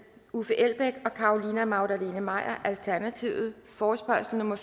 uffe elbæk og carolina magdalene maier forespørgsel nummer